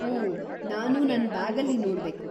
ಓಹ್‌, ನಾನು ನನ್ ಬ್ಯಾಗಲ್ಲಿ ನೋಡ್ಬೇಕು.